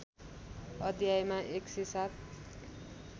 अध्यायमा १०७